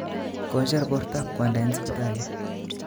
Kocher bortab kwanda en sipitali